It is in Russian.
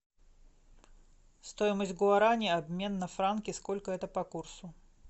стоимость гуарани обмен на франки сколько это по курсу